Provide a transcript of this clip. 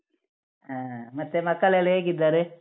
ಹಾ, ಮತ್ತೆ ಮಕ್ಕಳೆಲ್ಲಾ ಹೇಗಿದ್ದಾರೆ?